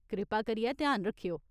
कृपा करियै ध्यान रक्खेओ।